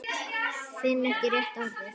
Finn ekki rétta orðið.